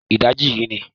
Ìdajì yìí ni